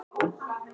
Ég er maðurinn!